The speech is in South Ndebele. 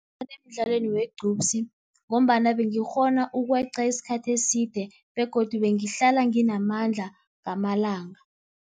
emdlalweni wegqupsi ngombana bengikghona ukweqa isikhathi eside begodu bengihlala nginamandla ngamalanga.